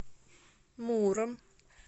муром